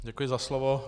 Děkuji za slovo.